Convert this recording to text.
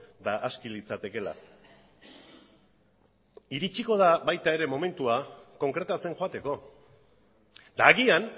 eta aski litzatekeela iritsiko da baita ere momentua konkretatzen joateko eta agian